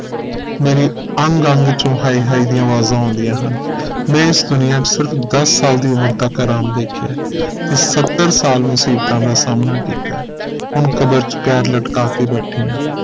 ਮੇਰੇ ਅੰਗ ਅੰਗ ਚੋ ਹਾਏ ਹਾਏ ਦੀਆਂ ਅਵਾਜ਼ਾਂ ਆਉਂਦੀਆਂ ਹਨ ਮੈਂ ਇਸ ਦੁਨੀਆ ਚ ਸਿਰਫ ਦਸ ਸਾਲ ਦੀ ਉਮਰ ਤਕ ਆਰਾਮ ਦੇਖਿਆ ਹੈ ਤੇ ਸੱਤਰ ਸਾਲ ਮੁਸੀਬਤਾਂ ਦਾ ਸਾਹਮਣਾ ਕੀਤਾ ਹੈ ਹੁਣ ਕਬਰ ਚ ਪੈਰ ਲਟਕਾ ਕੇ ਬੈਠੀ ਹਾਂ